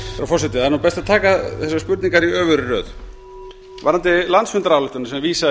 forseti það er best að taka þessar spurningar í öfugri röð varðandi landsfundarályktunina sem vísað er